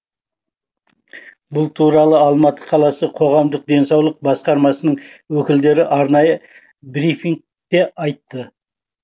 бұл туралы алматы қаласы қоғамдық денсаулық басқармасының өкілдері арнайы брифингте айтты